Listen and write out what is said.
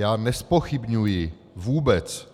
Já nezpochybňuji vůbec